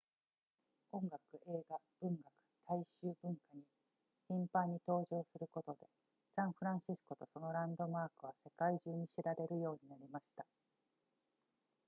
音楽映画文学大衆文化に頻繁に登場することでサンフランシスコとそのランドマークは世界中に知られるようになりました